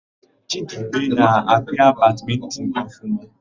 Chidebe na-apịa badmịntịn ọfụma.